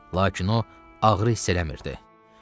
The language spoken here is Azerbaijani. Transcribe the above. Lakin o ağrı hiss eləmirdi.